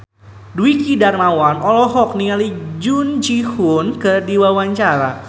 Dwiki Darmawan olohok ningali Jung Ji Hoon keur diwawancara